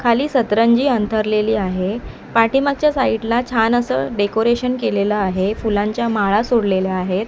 खाली सतरंजी अंथरलेली आहे पाठीमागच्या साईडला छान असं डेकोरेशन केलेलं आहे फुलांच्या माळा सोडलेल्या आहेत.